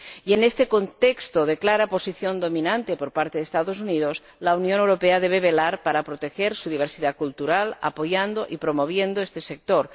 Y en este contexto de clara posición dominante por parte de los Estados Unidos, la Unión Europea debe velar por proteger su diversidad cultural, apoyando y promoviendo este sector.